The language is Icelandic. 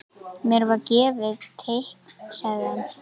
Mér var gefið teikn sagði hann.